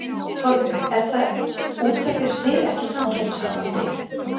Þorbjörn: Er það út af fyrir sig ekki samkeppnishamlandi?